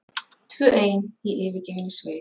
Tvö ein í yfirgefinni sveit.